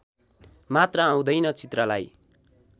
मात्र आउँदैन चित्रलाई